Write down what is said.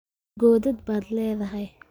Godad baad leedahay.